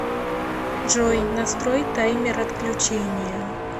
джой настрой таймер отключения